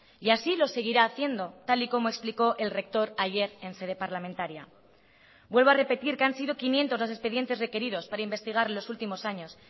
y así lo seguirá haciendo tal y como explicó el rector ayer en sede parlamentaria vuelvo a repetir que han sido quinientos los expedientes requeridos para investigar los últimos años